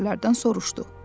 O əsgərlərdən soruşdu.